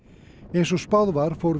eins og spáð var fór